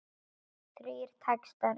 Þrír textar í